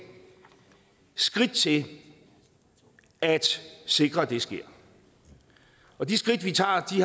skridt til at sikre at det sker og de skridt vi tager